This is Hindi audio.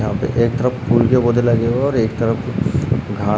यहाँ पे एक तरफ फूल के पोधे लगे हुए हैं और एक तरफ घास --